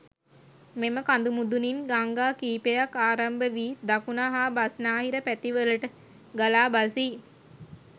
මෙම කඳු මුදුනින් ගංඟා කීපයක් ආරම්භ වී දකුණ හා බස්නාහිර පැති වලට ගලා බසී.